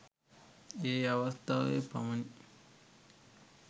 ඒ අවස්ථාවේ පමණි.